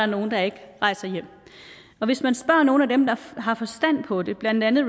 nogle der ikke rejser hjem og hvis man spørger nogle af dem der har forstand på det blandt andet